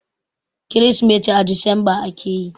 Kirsimeti a Disamba ake yi.